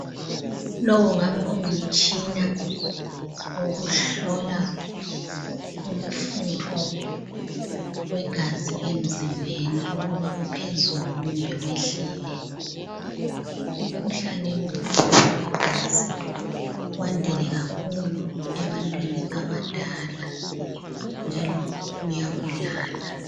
Lo ungabe ungumtshina wokuhlola umfutho wegazi emzimbeni ukuba uphezulu kumbe wehlile, umkhuhlane wemfutho wegazi wandile kakhulu ebantwini abadala njalo uyabulala